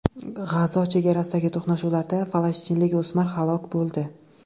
G‘azo chegarasidagi to‘qnashuvlarda falastinlik o‘smir halok bo‘ldi.